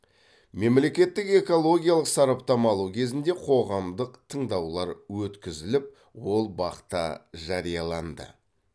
мемлекеттік экологиялық сараптама алу кезінде қоғамдық тыңдаулар өткізіліп ол бақ та жарияланды